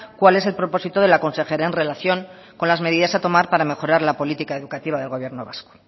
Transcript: cuál es el propósito de la consejera en relación con las medidas a tomar para mejorar la política educativa del gobierno vasco